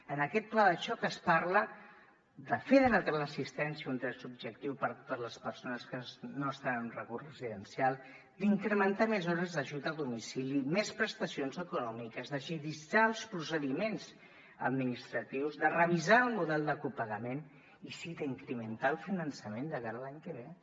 en aquest pla de xoc es parla de fer de la teleassistència un dret subjectiu per a totes les persones que no estan en un recurs residencial d’incrementar més hores l’ajut a domicili més prestacions econòmiques d’agilitzar els procediments administratius de revisar el model de copagament i sí d’incrementar el finançament de cara a l’any que ve